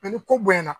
ni ko bonya na